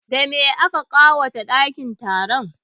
Da me aka ƙawata ɗakin taron?